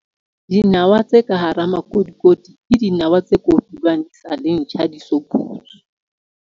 Dinawa tse ka hara makotikoti ke dinawa tse kotulwang di sa le ntjha di so bulwe.